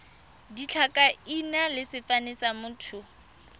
ditlhakaina le sefane sa motho